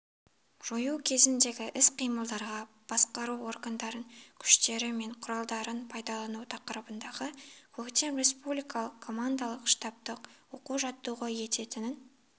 жою кезіндегі іс-қимылдарға басқару органдарын күштері мен құралдарын дайындау тақырыбындағы көктем республикалық командалық-штабтық оқу-жаттығуы өтетінін